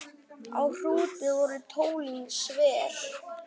Á Hrúti voru tólin sver.